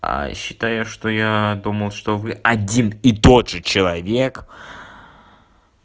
считаю что я думал что вы один и тот же человек